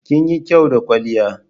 Kinyi kyau da kwalliya.